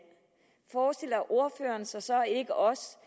forestiller ordføreren sig så ikke også